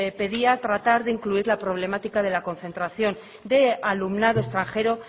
pedía tratar de incluir la problemática de la concentración de alumnado extranjero